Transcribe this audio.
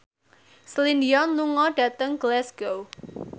Celine Dion lunga dhateng Glasgow